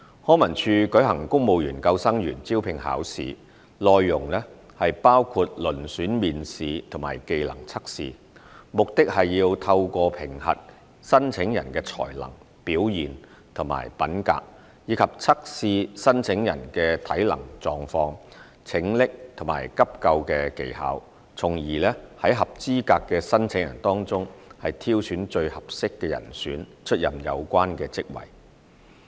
康文署舉行公務員救生員招聘考試，內容包括遴選面試和技能測試，目的是透過評核申請人的才能、表現及品格，以及測試申請人的體能狀況、拯溺及急救技巧，從而在合資格的申請人當中挑選最合適的人選出任有關職位。